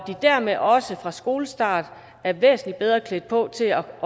dermed også fra skolestart er væsentlig bedre klædt på til at